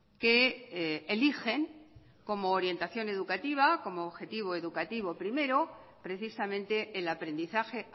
que eligen como orientación educativa como objetivo educativo primero precisamente el aprendizaje